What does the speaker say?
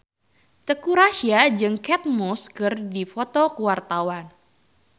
Teuku Rassya jeung Kate Moss keur dipoto ku wartawan